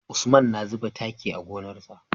Usman na zuba taki a gonar sa